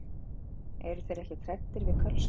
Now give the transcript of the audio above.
Eru þeir ekkert hræddir við Kölska?